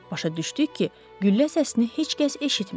Başa düşdük ki, güllə səsini heç kəs eşitməyib.